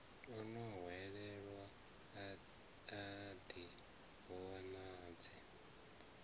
o hwelelwaho a ḓi vhonadze